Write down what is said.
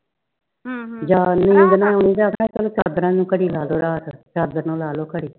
ਜਦੋ ਨੀਂਦ ਨਾ ਆਵੇ ਚਾਦਰਾ ਨੂੰ ਘੜੀ ਲਾਦੋ ਰਾਤ ਚਾਦਰ ਨੂੰ ਲਾਦੋ ਘੜੀ